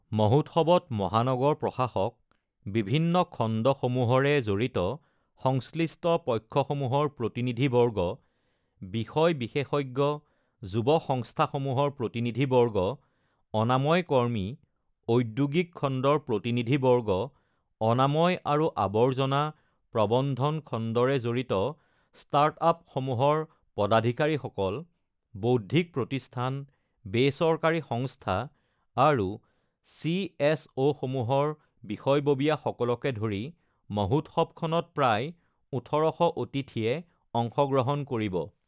মহোৎসৱত মহানগৰ প্ৰশাসক, বিভিন্ন খণ্ডসমূহৰে জড়িত সংশ্লিষ্ট পক্ষসমূহৰ প্ৰতিনিধিবৰ্গ, বিষয় বিশেষজ্ঞ, যুৱ সংস্থাসমূহৰ প্ৰতিনিধিবৰ্গ, অনাময় কৰ্মী, ঔদ্যোগীক খণ্ডৰ প্ৰতিনিধিবৰ্গ, অনাময় আৰু আৱৰ্জনা প্ৰবন্ধন খণ্ডৰে জড়িত ষ্টাৰ্টআপ সমূহৰ পদাধিকাৰীসকল, বৌদ্ধিক প্ৰতিষ্ঠান, বেচৰকাৰী সংস্থা আৰু চিএছঅসমূহৰ বিষয়ববীয়াসকলকে ধৰি মহোৎসৱখনত প্ৰায় ১৮০০ অতিথিয়ে অংশগ্ৰহণ কৰিব।